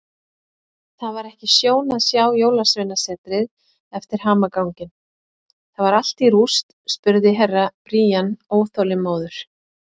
Það var ekki sjón að sjá Jólasveinasetrið eftir hamaganginn, það var allt í rúst spurði Herra Brian óþolinmóður.